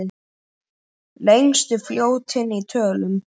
Lengstu fljótin í tölum